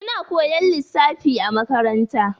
Suna koyan lissafi a makaranta.